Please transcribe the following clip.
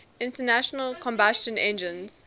internal combustion engines